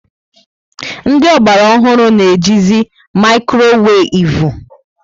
Ndị Ogbara ọhụrụ na eji zi maikroweivu